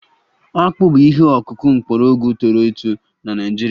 Akpụ bụ ihe ọkụkụ mgbọrọgwụ toro eto na Naịjirịa